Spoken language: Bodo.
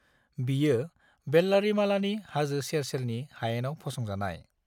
बियो वेल्लारीमालानि हाजो सेर-सेरनि हायेनाव फसंजानाय।